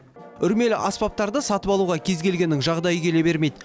үрмелі аспаптарды сатып алуға кез келгеннің жағдайы келе бермейді